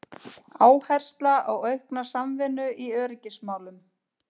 Áhersla á aukna samvinnu í öryggismálum